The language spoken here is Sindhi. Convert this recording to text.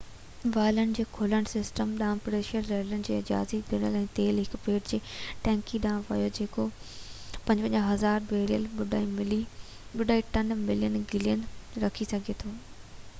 والن جي کلڻ سسٽم ڏانهن پريشر رليز ڪرڻ جي اجازت ڏني ۽ تيل هڪ پيڊ تي ٽينڪي ڏانهن ويو جيڪو 55،000 بيرل 2.3 ملين گيلن رکي سگهي ٿو